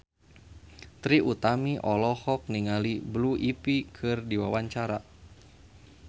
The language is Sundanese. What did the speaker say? Trie Utami olohok ningali Blue Ivy keur diwawancara